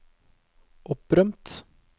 opprømt